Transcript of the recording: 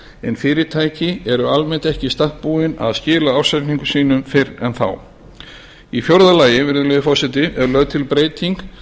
en fyrirtæki eru almennt ekki í stakk búin að skila ársreikningum sínum fyrr en þá í fjórða lagi virðulegi forseti er lögð til breyting